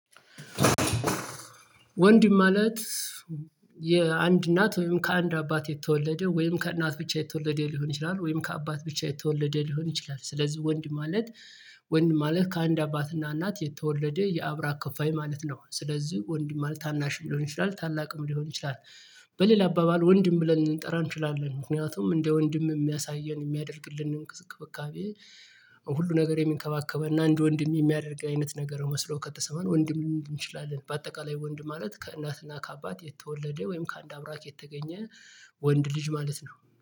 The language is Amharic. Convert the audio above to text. ወንድ ማለት የአንድ እናት ወይም ከአንድ አባት የተወለደ ወይም ከእናት ብቻ የተወለደ ሊሆን ይችላል ወይም ከአባት ብቻ የተወለደ ሊሆን ይችላል። ስለዚህ ወንድ ማለት ወንድ ማለት ከአንድ አባትና እናት የተወለደ የአብራ ከፋይ ማለት ነው። ስለዚህ ወንድ ማለት ታናሽ ሊሆን ይችላል ታላቅም ሊሆን ይችላል። በሌላ አባባል ወንድም ብለን ልንጠራ እንችላለን። ምክንያቱም እንደ ወንድም የሚያሳየን የሚያደርግልን እንቅስቃሴ እንክብካቤ ሁሉ ነገር የሚንከባከበንና እንድ ወንድም የሚያደርግ አይነት ነገር መስሎ ከተሰማን ወንድም ሊሆን ይችላል። በአጠቃላይ ወንድ ማለት ከእናትና ከአባት የተወለደ ወይም ከአንድ አብራክ የተገኘ ወንድ ልጅ ማለት ነው